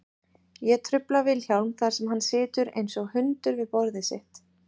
Ég trufla Vilhjálm þar sem hann situr einsog hundur við borðið sitt.